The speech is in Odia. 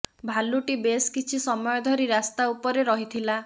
ଭାଲୁଟି ବେଶ୍ କିଛି ସମୟ ଧରି ରାସ୍ତା ଉପରେ ରହିଥିଲା